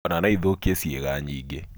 Ona no ĩthũkie ciĩga ingĩ.